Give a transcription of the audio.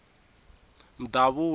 mdavula